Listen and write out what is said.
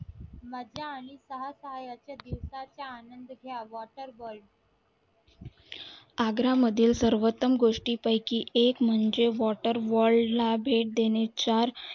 आनंद घ्या आग्रा मधील सर्वतम गोष्टी पयकी कि एक म्हणजे water world भेट देणे चार